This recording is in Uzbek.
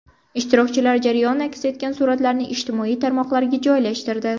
Ishtirokchilar jarayon aks etgan suratlarni ijtimoiy tarmoqlarga joylashtirdi.